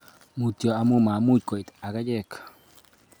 Mutyo amu mamuch koit ak achek